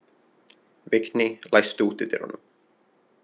Vigný, læstu útidyrunum.